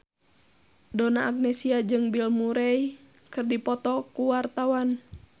Donna Agnesia jeung Bill Murray keur dipoto ku wartawan